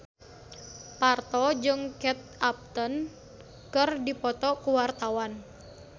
Parto jeung Kate Upton keur dipoto ku wartawan